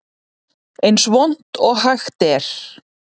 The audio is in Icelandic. Eins vont og hægt er